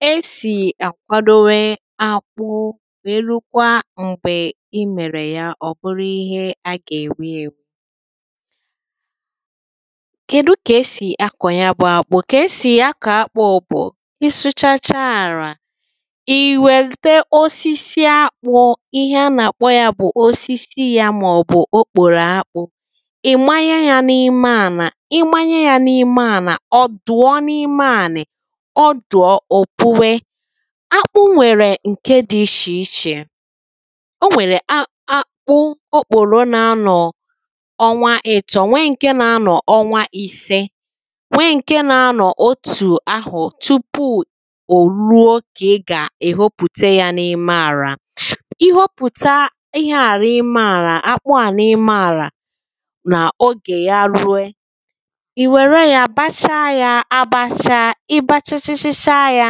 kà esì àkwadowe akpụ nwère rukwa m̀gbè i mèrè ya ọ̀ bụrụ ihe a gà-èri ērī kèdu kà esì akọ̀ ya bụ̄ ākpụ̄ kà esì akọ̀ akpụ̄ bụ̀ ị sụchacha àrà ị̀ wète osisi akpụ̄ ihe a nà-àkpọ yā bụ̀ osisi yā màọ̀bụ̀ okpòrò akpụ̄ màọ̀bụ̀ okpòrò akpụ̄ ị̀ manye yā n’ime ànà ị manye yā n’ime ànà ọ̀ dụ̀ọ n’ime ànị̀ ọ dụ̀ọ ò puwe akpụ nwèrè ǹke dị̄ ishè ishè o nwèrè akpụ okpòro nā-ānọ̀ ọnwa ị̄tọ̄ nwe ǹke nā-ānọ̀ ọnwa īsē nwe ǹke nā-anọ̀ otù ahụ̀ tupu ò ruo kà ị gà-èhopùte yā n’ime àrà ị hopùta ihe à n’ime àrà akpụ à n’ime àrà nà ogè ya rue ị̀ wère yā bacha yā àbàchà ị bachachachacha yā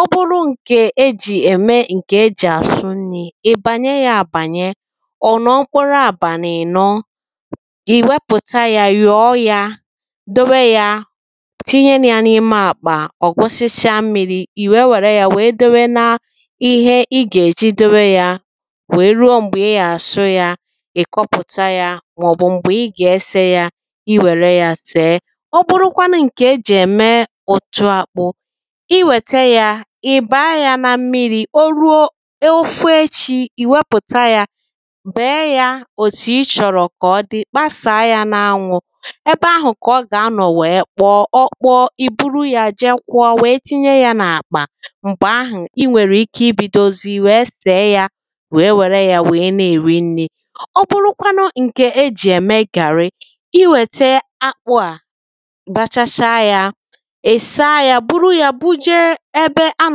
ọ bụrụ ǹkè ejì ème ǹkè ejì àsụ nnī ị̀ bànye yā àbànye ọ̀ nọ̀ọkwara abànị̀ ị̀nọ ì wepùta yā nyọ̀ọ yā dowe yā tinye yā n’ime àkpà ọ̀ gbosịcha mmīrī ì nwèe nwère yā nwèe dowe na ihe ị gà-èji dowe yā nwèe rue m̀gbè ị gà-àsụ yā ị̀ kọpụ̀ta yā mà ọ̀ bụ̀ m̀gbè ị gà-esē yà ị̀ nwère yā sèe ọ bụrụkwanụ ǹkè ejì ème ụ̀tụ ākpụ̄ ị nwète yā ị̀ bàa yā nà mmirī o ruo o fuo echī ị̀ nwepùta yā bèe yā òtù ị chọ̀rọ̀ kà ọ dị kpàsàa yā n’anwụ̄ ebe ahụ̀ kà ọ gà-anọ̀ nwèe kpọọ ọ kpọọ ì buru yā je kwọọ nwèe tinye yā n’àkpà m̀gbè ahụ̀ i nwèrè ike ibīdōzī nwèe sèe yā nwèe nwère yā nwèe na-èri nnī ọ bụrụkwanụ ǹkè ejì ème gàrị i nwète akpụ̄ à bachacha yā ị̀ saa yā buru yā buje ebe a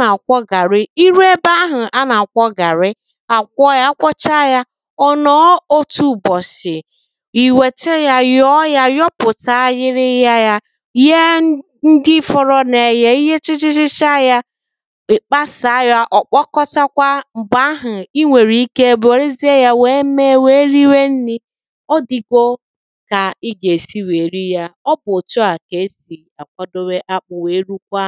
nà-àkwọ gàrị i ruo ebe ahụ̀ a nà-àkwọ gàrị à kwọọ yā a kwọcha yā ọ̀ nọ̀ọ otū ụ̀bọ̀sị̀ ì wète yā nyọ̀ọ yā nyọpụ̀ta ịyịrịya yā yee ndị́ fọ̄rọ̄ nụ̀ eye i yechachachacha yā ị̀ kpasàa yā ọ̀ kpọkọsakwa m̀gbè ahụ̀ i nwèrè ike wèresie yā nwèe mee nwèe riwe nnī ọ dị̄gō kà ị gà-èsi nwèe ri yā ọ bụ̀ òtu à kà-esì àkwadowe akpụ̄ nwèe rukwa…